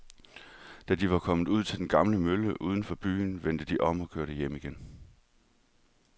Da de var kommet ud til den gamle mølle uden for byen, vendte de om og kørte hjem igen.